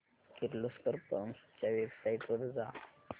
Kirloskar pumps च्या website वर जा